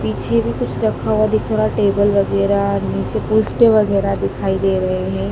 पीछे भी कुछ रखा हुआ दिख रहा टेबल वगैरह नीचे पुस्टे वगैरह दिखाई दे रहे हैं।